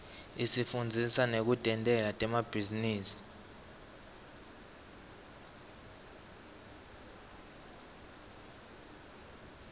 isifundzisa nekutentela temabhizinisi